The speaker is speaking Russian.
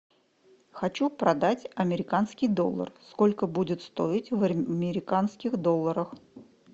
хочу продать американский доллар сколько будет стоить в американских долларах